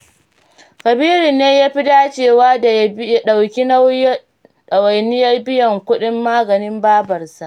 Kabiru ne ya fi dacewa da ya ɗauki ɗawainiyar biyan kuɗin maganin babarsu.